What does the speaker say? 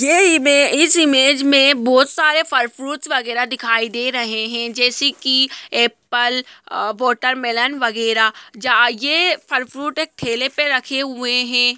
ये इमे इस इमेज में बोहत सारे फल फ्रूट्स वगेरा दिखाई दे रहें हैं जैसे की एप्पल अ वाटरमैलोन वगेरा जा ये फल फ्रूट एक ठेले पे रखे हुए हैं।